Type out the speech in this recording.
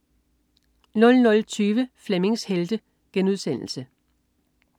00.20 Flemmings Helte*